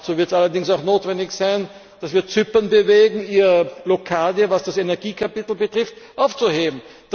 Dazu wird allerdings auch notwendig sein, dass wir Zypern dazu bewegen, die Blockade, was das Energiekapitel betrifft, aufzuheben.